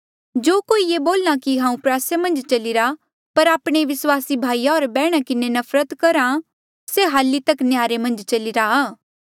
जो कोई ये बोल्हा कि हांऊँ प्रयासा मन्झ चलीरा पर आपणे विस्वासी भाई होर बैहणा किन्हें नफरत करहा से हल्ली तक नह्यारे मन्झ चलीरा आ